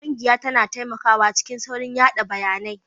Ƙungiya tana taimakawa cikin saurin yada bayanai